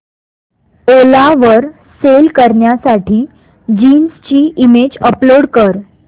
ओला वर सेल करण्यासाठी जीन्स ची इमेज अपलोड कर